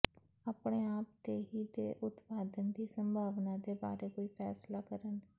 ਆਪਣੇ ਆਪ ਤੇ ਹੀ ਦੇ ਉਤਪਾਦਨ ਦੀ ਸੰਭਾਵਨਾ ਦੇ ਬਾਰੇ ਕੋਈ ਫ਼ੈਸਲਾ ਕਰਨ